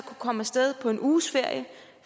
komme af sted på en uges ferie